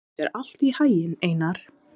Gangi þér allt í haginn, Einar.